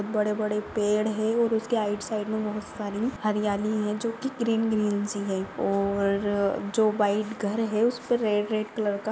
बड़े बड़े पेड है उसके आइट साइड मे बहुत सारे हरियाली है जो की ग्रीन ग्रीन सी है और जो व्हाइट घर है उसपे रेड रेड कलर का--